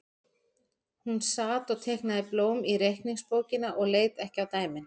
Hún sat og teiknaði blóm í reikningsbókina og leit ekki á dæmin.